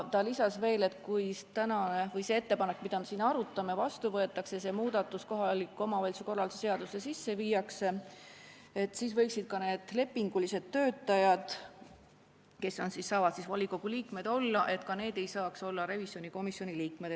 Ta lisas, et kui see ettepanek, mida me siin arutame, vastu võetakse ja see muudatus kohaliku omavalitsuse korralduse seadusesse sisse viiakse, siis võiks olla nii, et ka need lepingulised töötajad, kes saavad siis volikogu liikmed olla, ei saaks olla revisjonikomisjoni liikmed.